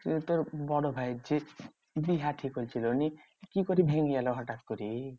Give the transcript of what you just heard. সেই তোর বড় ভাইয়ের যে বিহা ঠিক হয়েছিল নি। কি করে ভেঙ্গে গেলো হটাৎ করে?